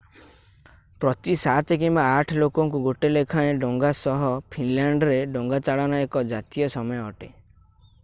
ପ୍ରତି 7 କିମ୍ବା 8 ଲୋକଙ୍କୁ ଗୋଟେ ଲେଖାଏଁ ଡଙ୍ଗା ସହ ଫିନଲାଣ୍ଡରେ ଡଙ୍ଗାଚାଳନା ଏକ ଜାତୀୟ ସମୟ ଅଟେ